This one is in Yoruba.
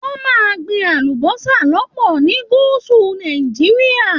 Wọn máa n gbìn àlùbọ́sà lọpọ ní gúúsù Nàìjíríà.